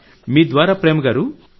మీ ద్వారా ప్రేమ్ గారూ